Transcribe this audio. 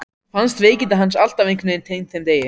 Fannst veikindi hans alltaf einhvern veginn tengd þeim degi.